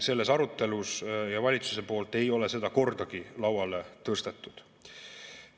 Selles arutelus ja valitsuse poolt ei ole seda kordagi lauale tõstetud.